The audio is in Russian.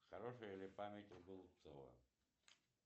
хорошая ли память у голубцова